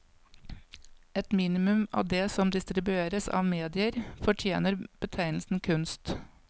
Et minimum av det som distribueres av medier, fortjener betegnelsen kunst.